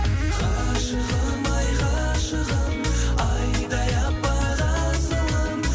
ғашығым ай ғашығым айдай аппақ асылым